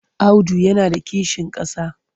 Audu yana da kishin ƙasa.